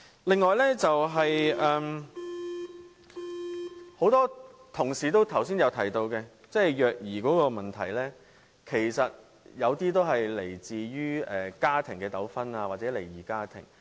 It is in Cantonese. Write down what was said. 另外，剛才很多同事提到虐兒問題，其實有些個案是源於家庭糾紛或離異家庭。